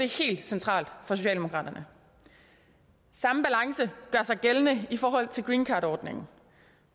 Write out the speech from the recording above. helt centralt for socialdemokraterne samme balance gør sig gældende i forhold til greencardordningen